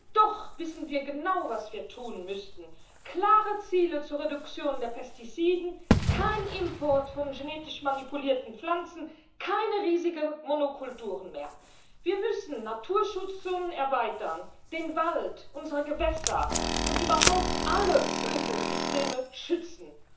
Und doch wissen wir genau, was wir tun müssten klare Ziele zur Reduktion der Pestizide, kein Import von genetisch manipulierten Pflanzen, keine riesigen Monokulturen mehr. Wir müssen Naturschutzzonen erweitern, den Wald, unsere Gewässer und überhaupt alle Ökosysteme schützen.